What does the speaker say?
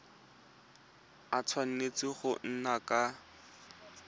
a tshwanetse go nna ka